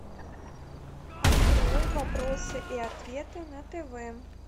открой вопросы и ответы на тв